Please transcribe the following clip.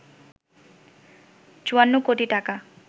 ৫৪ কোটি টাকা